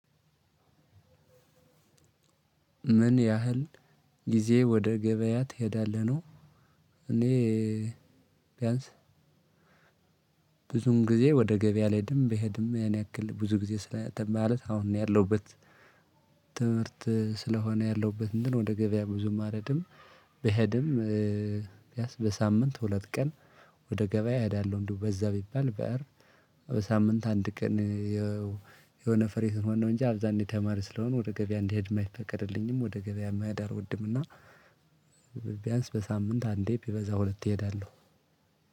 ምን ያህል ጊዜ ወደ ገበያ ትሄዳለህ ነው? እኔ ቢያንስ ብዙም ጊዜ ወደ ገበያ አልሄድም ብሄድም ያን ያክል ብዙ ጊዜ ስለእንትን አሁን ነው ያለሁበት ትምህርት ስለሆነ ያለሁበት እንትን ወደ ገበያ ብዙም አልሄድም። ብሄድም ቢያንስ በሳምንት ሁለት ቀን ወደ ገበያ እሄዳለሁ። እንደው በዛ ቢባል። በሳምንት አንድ ቀን። የሆነ ፍሪ ስንሆን እንጂ አብዛኝ ተማሪ ስለሆነ ወደ ገበያ እንዲሄድ የማይፈቀድልኝም ወደ ገበያ መሄድ አልወድም። እና ቢያንስ በሳምንት አንዴ ቢበዛ ሁለት እሄዳለሁ።